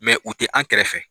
u ti an kɛrɛfɛ.